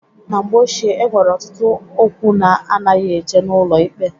Na mgbe ochie e nwere ọtụtụ okwu na-anaghị eje n'ụlọ ikpe.